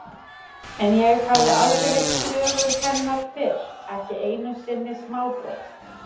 En ég hafði aldrei heyrt sögu hennar fyrr, ekki einu sinni smábrot.